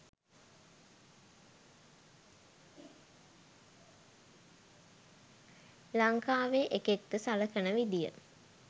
ලංකාවේ එකෙක්ට සලකන විදිය